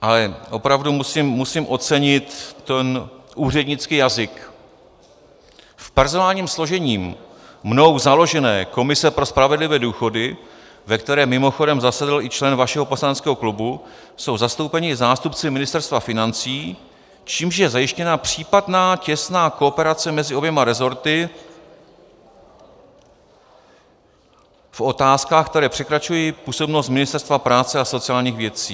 Ale opravdu musím ocenit ten úřednický jazyk: "V personálním složení mnou založené komise pro spravedlivé důchody, ve které mimochodem zasedl i člen vašeho poslaneckého klubu, jsou zastoupeni zástupci Ministerstva financí, čímž je zajištěna případná těsná kooperace mezi oběma resorty v otázkách, které překračují působnost Ministerstva práce a sociálních věcí.